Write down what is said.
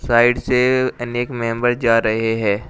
Side से अनेक member जा रहे हैं।